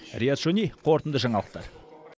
риат шони қорытынды жаңалықтар